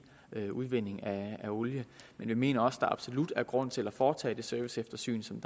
udvinding af olie men vi mener også at der absolut er grund til at foretage det serviceeftersyn som